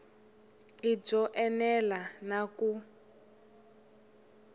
i byo enela na ku